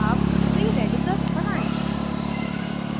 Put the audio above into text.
अब free radicals बनायें